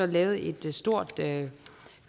lavede et stort